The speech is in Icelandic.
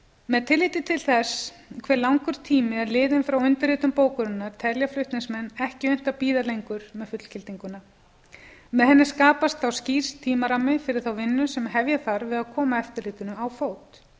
með tilliti til þess hve langur tími er liðinn frá undirritun bókunarinnar telja flutningsmenn ekki unnt að bíða lengur með fullgildinguna með henni skapast þá skýr tímarammi fyrir þá vinnu sem hefja þarf við að koma eftirlitinu á fót